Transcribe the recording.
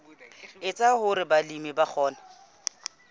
etsa hore balemi ba kgone